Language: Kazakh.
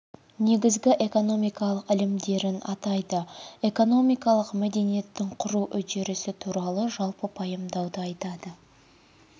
негізгі экономикалық ілімдерін атайды экономикалық мәдениеттің құру үрдісі туралы жалпы пайымдауды айтады